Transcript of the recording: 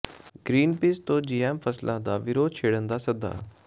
Greenpeace ਤੋਂ GM ਫ਼ਸਲਾਂ ਦਾ ਵਿਰੋਧ ਛੇੜਨ ਦਾ ਸੱਦਾ